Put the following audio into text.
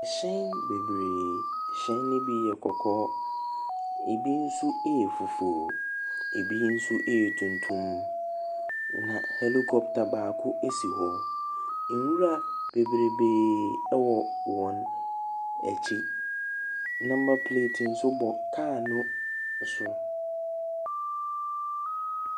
Ahyɛn bebree, hyɛn no bi yɛ kɔkɔɔ, ɛbi nso yɛ fufuo, ɛbi nso yɛ tuntum. Na helicopter baako si hɔ. Nwura bebrebee wɔ wɔn akyi. Number plate nso bɔ car no so.